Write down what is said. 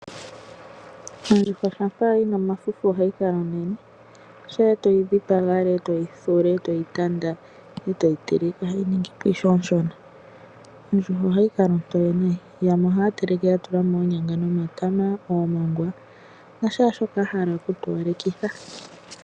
Ondjuhwa shampa yina omafufu ohayi kala onene sha etoyi dhipanga alaa etoyi thula etoyi tanda etoyi teleke ohayi ningi po ishewe oshona . Ondjuhwa ohayi kala ontoye nayi yamwe ohaya teleke ya tula mo oonyanga nomatama omongwa nashaa shoka ahala oku towalekitha.